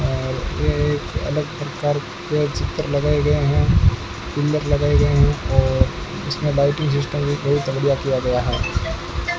अलग प्रकार के चित्र लगाए गए हैं कूलर लगाए गए हैं और इसमें लाइटिंग सिस्टम किया गया है।